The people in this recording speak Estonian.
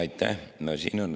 Aitäh!